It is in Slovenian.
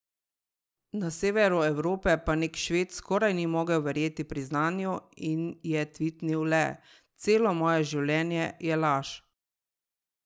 Na severu Evrope pa nek Šved skoraj ni mogel verjeti priznanju in je tvitnil le: "Celo moje življenje je laž".